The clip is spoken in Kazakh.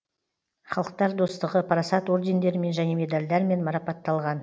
халықтар достығы парасат ордендерімен және медальдармен марапатталған